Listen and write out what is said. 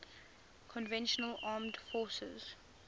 conventional armed forces